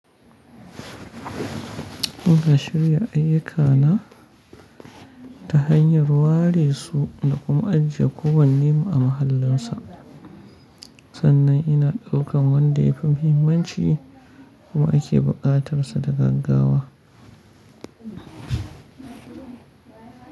Muna shirya ayyukana ta hanyar ware su da kuma ajiye kowanne mu a mahallinsa. Sannan ina ɗaukan wanda yafi muhimmanci kuma ake buƙatar sa da gaggawa.